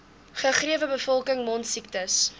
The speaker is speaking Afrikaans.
gegewe bevolking mondsiektes